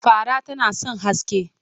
Fara tana son haske.